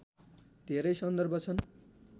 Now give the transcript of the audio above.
धेरै सन्दर्भ छन्